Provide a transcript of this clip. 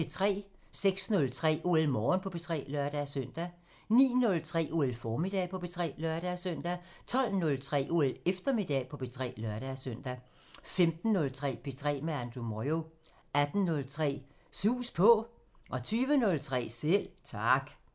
06:03: OL Morgen på P3 (lør-søn) 09:03: OL Formiddag på P3 (lør-søn) 12:03: OL Eftermiddag på P3 (lør-søn) 15:03: P3 med Andrew Moyo 18:03: Sus På 20:03: Selv Tak